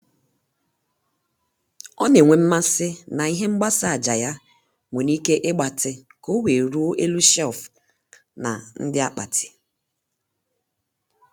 ọ na-enwe mmasị na ihe mgbasa ájá ya nwere ike ịgbatị ka o wee ruo elu shelf na ndí akpati.